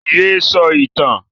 Yé sọ ìtàn!